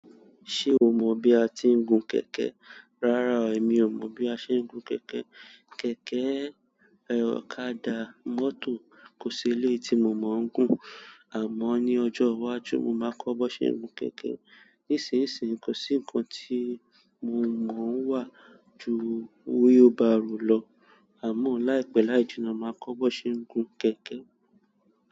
Ṣé o mo bí a ti ń gun kẹ̀kẹ́? Rárá, èmi ò mọ̀ bí a ṣe ń gun kẹ̀kẹ́. Kẹ̀kẹ́, ọ̀kadà, mọ́tò kò sí eléyìí tí mo mọ̀ ń gùn. Àmọ́ ní ọjọ́ wájú, mo máa kọ bí won ṣe ń gun kẹ̀kẹ́. Nísinsìn, kò sí nǹkan tí mo mọ̀ wá ju wheelbarrow lọ. Àmọ́ láìpẹ́ láìjìna máà kọ́ bi won ṣe ń gun kẹ̀kẹ́.